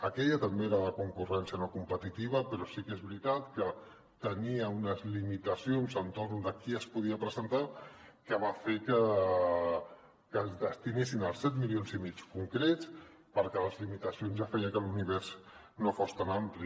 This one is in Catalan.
aquella també era de concurrència no competitiva però sí que és veritat que tenia unes limitacions entorn de qui s’hi podia presentar que va fer que es destinessin els set milions i mig concrets perquè les limitacions ja feien que l’univers no fos tan ampli